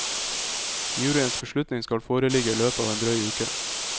Juryens beslutning skal foreligge i løpet av en drøy uke.